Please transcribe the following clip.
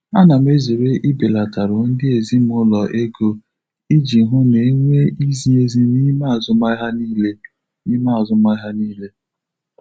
Ana m ezere ibelatarụ ndị ezimụlọ ego iji hụ na e nwee izi ezi n'ime azụmahịa niile. n'ime azụmahịa niile.